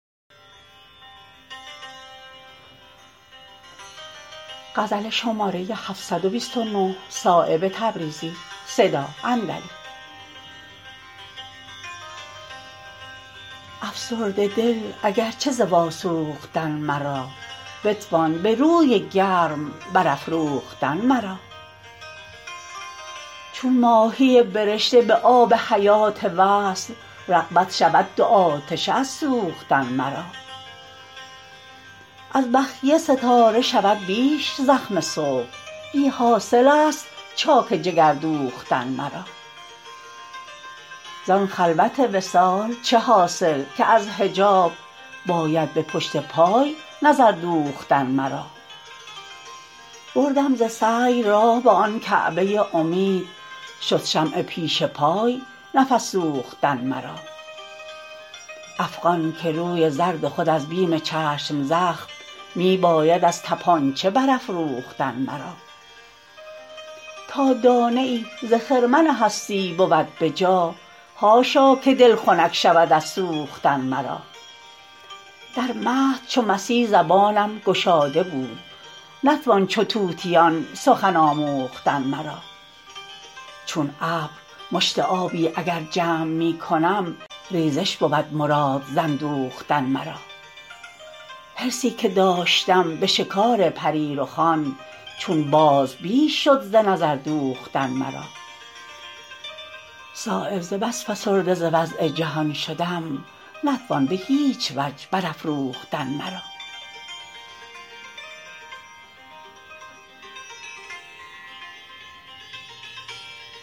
افسرده دل اگر چه ز واسوختن مرا بتوان به روی گرم برافروختن مرا چون ماهی برشته به آب حیات وصل رغبت شود دو آتشه از سوختن مرا از بخیه ستاره شود بیش زخم صبح بی حاصل است چاک جگر دوختن مرا زان خلوت وصال چه حاصل که از حجاب باید به پشت پای نظردوختن مرا بردم ز سعی راه به آن کعبه امید شد شمع پیش پای نفس سوختن مرا افغان که روی زرد خود از بیم چشم زخم می باید از تپانچه برافروختن مرا تا دانه ای ز خرمن هستی بود به جا حاشا که دل خنک شود از سوختن مرا در مهد چون مسیح زبانم گشاده بود نتوان چو طوطیان سخن آموختن مرا چون ابر مشت آبی اگر جمع می کنم ریزش بود مراد ز اندوختن مرا حرصی که داشتم به شکار پری رخان چون باز بیش شد ز نظردوختن مرا صایب ز بس فسرده ز وضع جهان شدم نتوان به هیچ وجه برافروختن مرا